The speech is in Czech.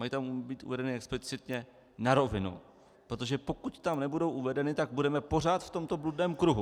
Mají tam být uvedeny explicitně na rovinu, protože pokud tam nebudou uvedeny, tak budeme pořád v tomto bludném kruhu.